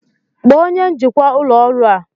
Kpọọ onye njikwa ụlọ ọrụ a!